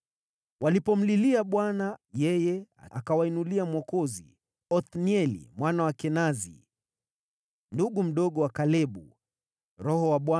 Waisraeli walipomlilia Bwana , yeye akawainulia mwokozi, Othnieli mwana wa Kenazi, ndugu mdogo wa Kalebu, ambaye aliwaokoa.